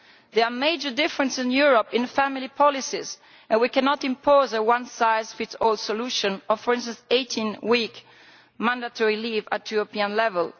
There are major differences in Europe in family policies and we cannot impose a one size fits all solution of, for instance, 18 weeks mandatory leave at European level.